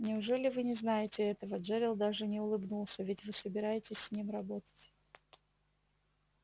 неужели вы не знаете этого джерилл даже не улыбнулся ведь вы собираетесь с ним работать